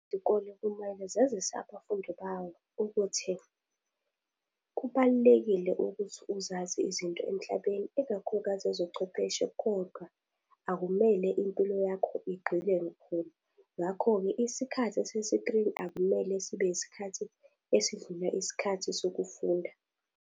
Izikole kumele zazise abafundi bawo ukuthi, kubalulekile ukuthi uzazi izinto emhlabeni, ikakhulukazi ezochwepheshe, kodwa akumele impilo yakho igqile khona. Ngakho-ke isikhathi sesikrini akumele sibe yisikhathi esidlula isikhathi sokufunda.